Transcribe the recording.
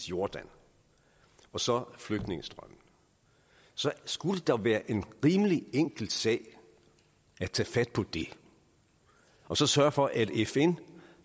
jordan og så flygtningestrømmen så skulle det da være en rimelig enkel sag at tage fat på det og så sørge for at fn